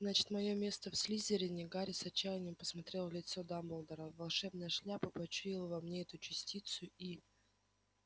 значит моё место в слизерине гарри с отчаянием посмотрел в лицо дамблдора волшебная шляпа почуяла во мне эту частицу и